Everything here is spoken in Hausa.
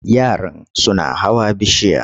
Yaran suna hawa bishiya.